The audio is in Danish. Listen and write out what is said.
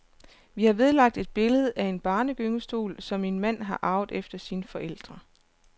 Vi har vedlagt et billede af en barnegyngestol, som min mand har arvet efter sine forældre.